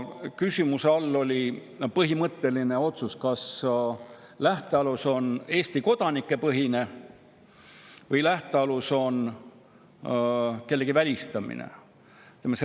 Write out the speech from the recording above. Küsimuse all oli põhimõtteline otsus, kas lähtealus on Eesti kodanike põhine või lähtealus on kellegi välistamine.